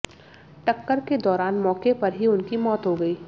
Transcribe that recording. टक्कर के दौरान मौके पर ही उनकी मौत हो गई